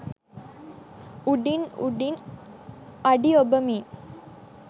උඩින් උඩින් අඩි ඔබමින්